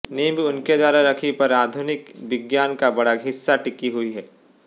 नींव उनके द्वारा रखी पर आधुनिक विज्ञान का बड़ा हिस्सा टिकी हुई है